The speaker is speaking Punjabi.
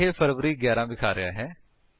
ਇਹ ਫਰਵਾਰੀ 11 ਵਿਖਾ ਰਿਹਾ ਹੈ